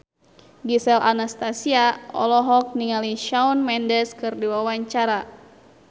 Gisel Anastasia olohok ningali Shawn Mendes keur diwawancara